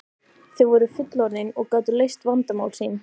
Þau voru fullorðin og gátu leyst vandamál sín.